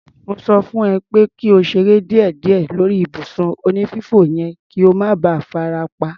Mo sọ fún ẹ pé kí o ṣeré díẹ̀díẹ̀ lórí ibùsùn onífífò yẹn kí o má ba farapa.